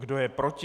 Kdo je proti?